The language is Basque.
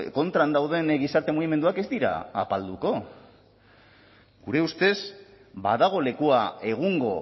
kontran dauden gizarte mugimenduak ez dira apalduko gure ustez badago lekua egungo